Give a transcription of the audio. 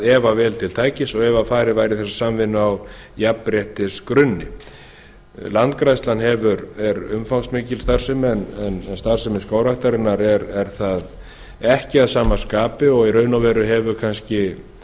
ef að vel til tækist og ef farið væri í samvinnuna á jafnréttisgrunni landgræðslan er umfangsmikil starfsemi en starfsemi skógræktarinnar er það ekki að sama skapi í raun hefur